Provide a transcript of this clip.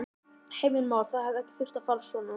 Heimir Már: Það hefði ekki þurft að fara svona?